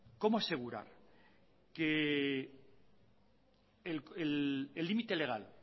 cómo asegurar que el límite legal